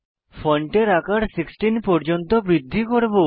ফন্টের আকার 16 পর্যন্ত বৃদ্ধি করব